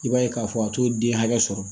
I b'a ye k'a fɔ a t'o den hakɛ sɔrɔ